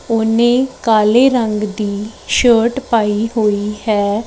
ਉਹ ਨੇ ਕਾਲੇ ਰੰਗ ਦੀ ਸ਼ਰਟ ਪਾਈ ਹੋਈ ਹੈ।